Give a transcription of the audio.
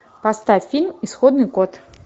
поставь фильм исходный код